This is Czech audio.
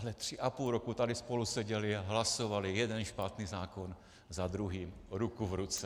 Ale tři a půl roku tady spolu seděli a hlasovali jeden špatný zákon za druhým ruku v ruce.